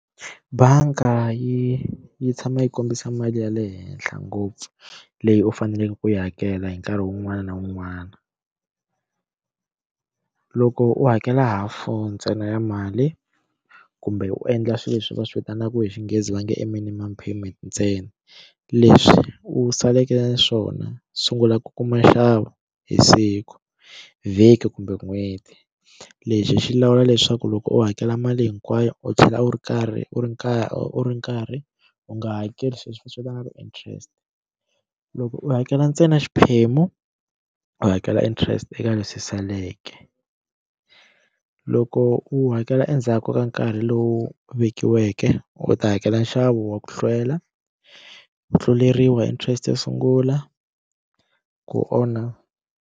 Banga yi yi tshama yi kombisa mali ya le henhla ngopfu leyi u faneleke ku yi hakela hi nkarhi wun'wana na wun'wana loko u hakela hafu ntsena ya mali kumbe u endla swilo leswi va swi vitanaka hi Xinghezi va nge i minimum payment ntsena leswi u saleke swona sungula ku kuma nxavo hi siku vhiki kumbe n'hweti lexi xi lawula leswaku loko u hakela mali hinkwayo u tlhela u ri karhi u ri kaya u ri nkarhi u nga hakeli sweswi va swi vitanaka ti-interest loko u hakela ntsena xiphemu u hakela interest eka lexi saleke u loko u hakela endzhaku ka nkarhi lowu vekiweke u ta hakela nxavo wa ku hlwela ku tluleriwa interest yo sungula ku onha.